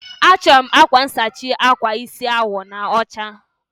Achọrọ m akwa nsachi akwa isi awọ na ọcha.